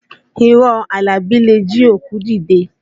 Irọ́ Àlàbí le jí òkú dìde